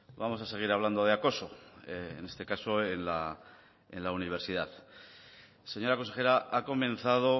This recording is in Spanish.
vamos a seguir hablando de acoso en este caso en la universidad señora consejera ha comenzado